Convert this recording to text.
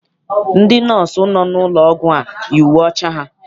Ndị nọọsụ nọ n'ụlọ ọgwụ a yi uwe ọcha ha.